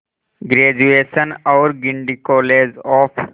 graduation और Guindy college of